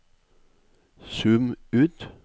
zoom ut